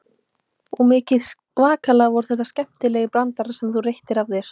Og mikið svakalega voru þetta skemmtilegir brandarar sem þú reyttir af þér.